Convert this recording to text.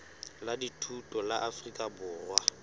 la dithuto la afrika borwa